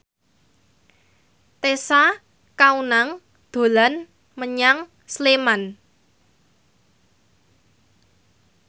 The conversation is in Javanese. Tessa Kaunang dolan menyang Sleman